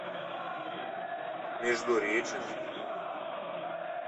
междуреченск